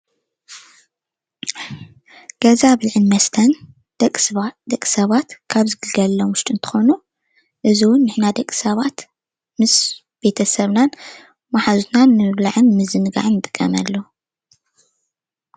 ገዛ ብልዕን መስተን ደቂ ሰባት ደቂ ሰባት ካብ ዝግልገለሎም ውሽጢ እንትኮኑ እዚ እውን ንሕና ደቂ ሰባት ምስ ቤተሰብናን ማሓዙትናን ንምብላዕን ንምዝንጋዕን ንጥቀመሉ፡፡